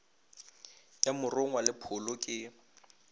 ya morongwa le pholo ke